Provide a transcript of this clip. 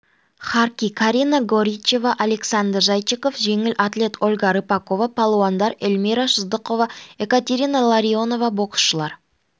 харки карина горичева александр зайчиков жеңіл атлет ольга рыпакова палуандар эльмира сыздықова екатерина ларионова боксшылар